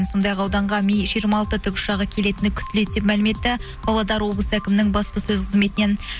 сондай ақ ауданға ми жиырма алты тікұшағы келетіні күтіледі деп мәлім етті павлодар облыс әкімінің баспасөз қызметінен